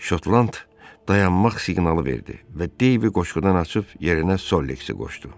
Şotland dayanmaq siqnalı verdi və Deyvi qoşqudan açıb yerinə Solleksi qoşdu.